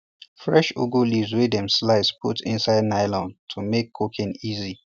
fresh ugu leaves wey dem slice put inside nylon to make cooking easy